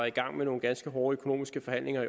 i gang med nogle ganske hårde økonomiske forhandlinger